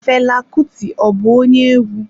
Fela Kuti ọ bụ onye egwu?